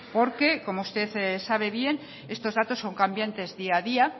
porque como usted sabe bien estos datos son cambiantes día a día